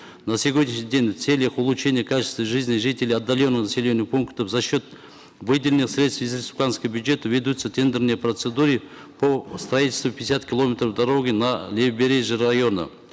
на сегодняшний день в целях улучшения качества жизни жителей отдаленных населенных пунктов за счет выделенных средств из республиканского бюджета ведутся тендерные процедуры по строительству пятидесяти километров дороги на левобережье района